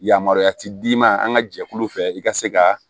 Yamaruya ti d'i ma an ka jɛkulu fɛ i ka se ka